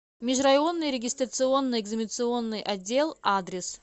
межрайонный регистрационно экзаменационный отдел адрес